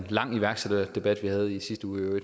lang iværksætterdebat vi havde i sidste uge